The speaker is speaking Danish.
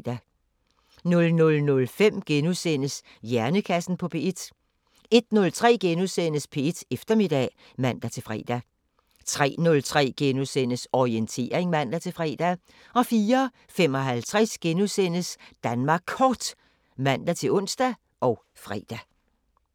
00:05: Hjernekassen på P1 * 01:03: P1 Eftermiddag *(man-fre) 03:03: Orientering *(man-fre) 04:55: Danmark Kort *(man-ons og fre)